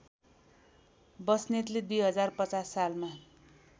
बस्नेतले २०५० सालमा